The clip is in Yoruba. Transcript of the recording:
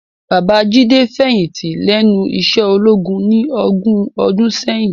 Baba Jide fèyinti lènú iṣè ólógún ni ógùn òdùn sèyin